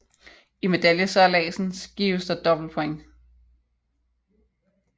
I medaljesejladsen gives der dobbelt points